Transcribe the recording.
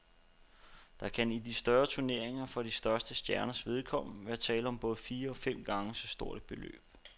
Der kan i de største turneringer for de største stjerners vedkommende være tale om både fire og fem gange så stort et beløb.